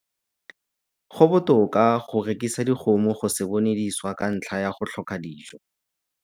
Go botoka go rekisa dikgomo go se bone di swa ka ntlha ya go tlhoka dijo.